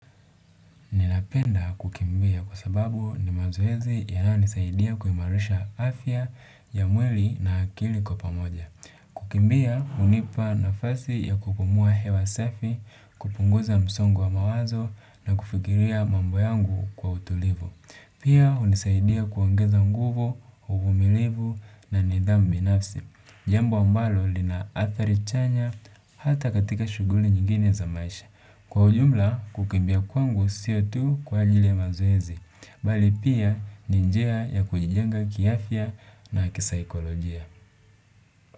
Ninapenda kukimbia kwa sababu ni mazoezi yanayonisaidia kuimarisha afya ya mwili na akili kwa pamoja. Kukimbia hunipa nafasi ya kupumua hewa safi, kupunguza msongo wa mawazo na kufikiria mambo yangu kwa utulivu. Pia hunisaidia kuongeza nguvu, uvumilivu na nidhamu binafsi. Jambo ambalo lina athari chanya hata katika shughuli nyingine za maisha. Kwa ujumla, kukimbia kwangu sio tu kwa ajiri ya mazoezi, mbali pia ni njia ya kujijenga kiafya na kisaikolojia.